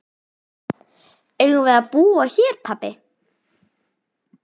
Eigum við að búa hér pabbi?